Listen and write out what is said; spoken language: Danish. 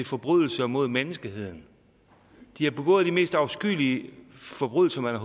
forbrydelser mod menneskeheden de har begået de mest afskyelige forbrydelser man